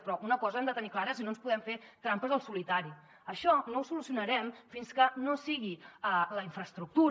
però una cosa han de tenir clara i no ens podem fer trampes al solitari això no ho solucionarem fins que no sigui la infraestructura